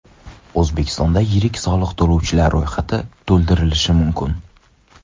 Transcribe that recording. O‘zbekistonda yirik soliq to‘lovchilar ro‘yxati to‘ldirilishi mumkin.